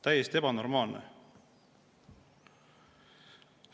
Täiesti ebanormaalne!